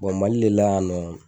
Mali le la yan nɔ